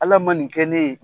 Ala ma nin kɛ ne ye.